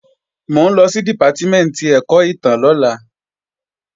Mò ń lọ sí Dìpátímẹ̀ntì ẹ̀kọ́ ìtàn lọ́la